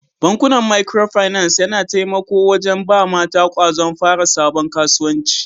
Bankuna Micro finance yana taimako wajen ba mata kwazon fara sabon kasuwanci.